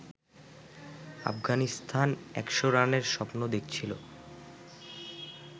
আফগানিস্তান একশ রানের স্বপ্ন দেখছিল